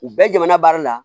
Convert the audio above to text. U bɛɛ jamana baara la